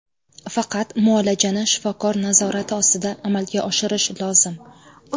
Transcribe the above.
Faqat muolajani shifokor nazorati ostida amalga oshirish lozim.